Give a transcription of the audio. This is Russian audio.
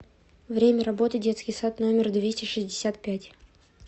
время работы детский сад номер двести шестьдесят пять